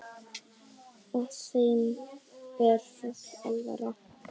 Og þeim er full alvara.